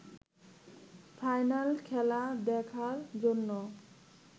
final খেলা দেখার জন্য